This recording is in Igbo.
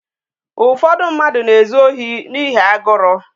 Ụfọdụ mmadụ na-ezu ohi n'ihi agụrụ